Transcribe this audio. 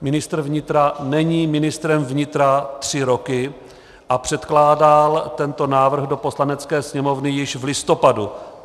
Ministr vnitra není ministrem vnitra tři roky a předkládal tento návrh do Poslanecké sněmovny již v listopadu.